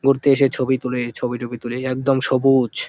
পড়তে এসে ছবি তোলে। ছবি টবি তুলে একদম সবুজ ।